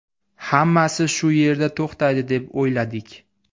Hammasi shu yerda to‘xtaydi deb o‘yladik.